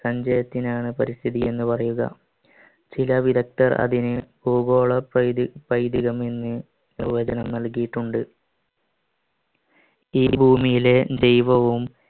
സഞ്ചയത്തിനെണ് പരിസ്ഥിതി എന്ന് പറയുക ചില വിദഗ്ധർ അതിനെ ഭൂഗോള പൈതികം എന്ന് പ്രവചനം നൽകിയിട്ടുണ്ട് ഈ ഭൂമിയിലെ ദൈവവും